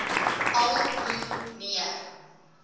al hoe meer